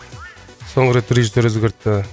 соңғы рет режиссер өзгертті